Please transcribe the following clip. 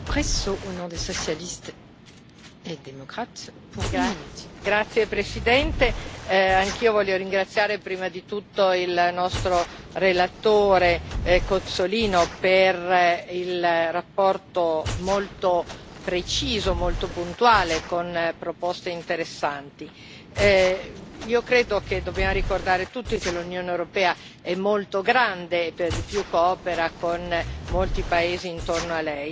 Signora Presidente, onorevoli colleghi, anch'io voglio ringraziare prima di tutto il nostro relatore Cozzolino per la relazione molto precisa, molto puntuale e con proposte interessanti. Io credo che dobbiamo ricordare tutti che l'Unione europea è molto grande e per di più coopera con molti paesi intorno a lei e la logica